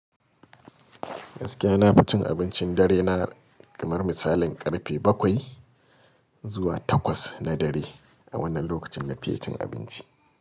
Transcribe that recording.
Gaskiya na fi cin abincin dare na kamar misalin karfe bakwai zuwa takwas na dare a wannan lokacin na fi cin abinci.